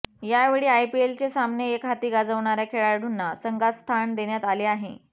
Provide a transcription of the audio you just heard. यावेळी आयपीएलचे सामने एकहाती गाजवणाऱ्या खेळाडूंना संघात स्थान देण्यात आले आहे